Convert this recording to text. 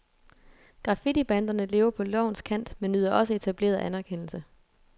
Graffitibanderne lever på lovens kant men nyder også etableret anerkendelse.